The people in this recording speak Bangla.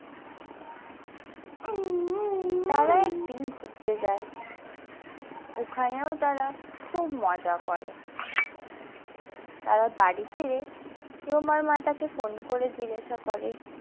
তারা একদিন ঘুরতে যায় ওখানেও তারা খুব মজা করে তারা বাড়ি ফিরে রোমার মা তাকে phone করে জিজ্ঞাসা করে।